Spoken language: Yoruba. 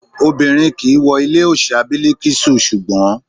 Obìnrin kìí wọ ilé òòṣà bìlìkísù ṣùngbó.